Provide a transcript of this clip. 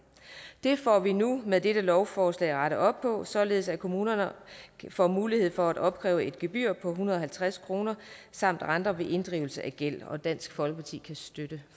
det får vi nu med dette lovforslag rettet op på således at kommunerne får mulighed for at opkræve et gebyr på fire hundrede og halvtreds kroner samt renter ved inddrivelse af gæld dansk folkeparti kan støtte